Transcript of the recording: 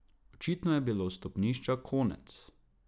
Očitno je bilo stopnišča konec.